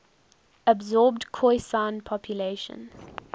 absorbed khoisan populations